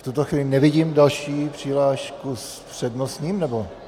V tuto chvíli nevidím další přihlášku s přednostním, nebo...?